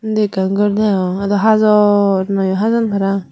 undi ekkan gor degong ado hazor nayo hajaan paraang.